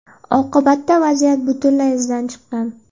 Oqibatda vaziyat butunlay izdan chiqqan.